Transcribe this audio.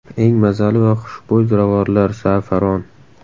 Eng mazali va xushbo‘y ziravorlar Za’faron.